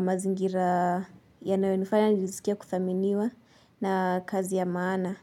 Mazingira yanayo nifanya niskie kuthaminiwa na kazi ya maana.